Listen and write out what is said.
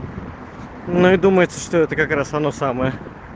ну и думается что это как раз оно самое